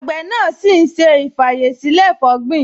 Àgbẹ̀ náà ṣì ń ṣe ì-fàyèsílẹ̀-fọ̀gbin